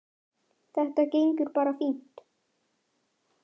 Þetta gengur bara fínt.